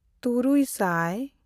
ᱛᱩᱨᱩᱭᱼᱥᱟᱭ